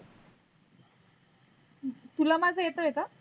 तुला माझा येतय का?